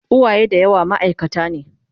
uwaye da yawa maaikata ne